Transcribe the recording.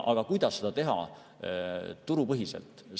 Aga kuidas seda teha turupõhiselt?